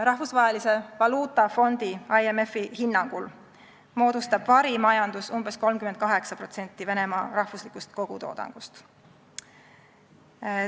Rahvusvahelise Valuutafondi IMF-i hinnangul moodustab varimajandus umbes 38% Venemaa rahvuslikust kogutoodangust.